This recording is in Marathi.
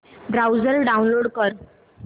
ब्राऊझर डाऊनलोड कर